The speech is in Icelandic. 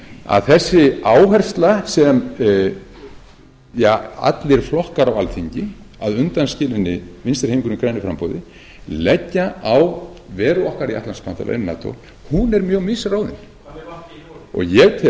að þessi áhersla sem allir flokkar á alþingi að undanskilinni vinstri hreyfingunni grænu framboði leggja á veru okkar í atlantshafsbandalaginu nato hún er mjög misráðin og ég